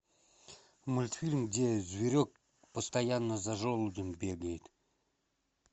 мультфильм где зверек постоянно за желудем бегает